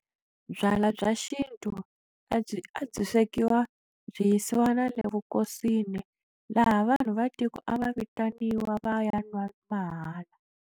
Byalwa bya xintu a byi swekiwa byi yisiwa na le vukosini laha vanhu va tiko a va vitaniwa va ya nwa mahala.